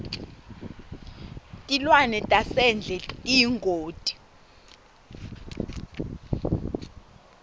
tilwane tasendle tiyingoti